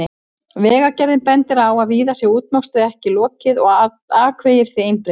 Vegagerðin bendir á að víða sé útmokstri ekki lokið og akvegir því einbreiðir.